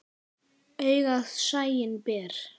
Augað sæinn ber.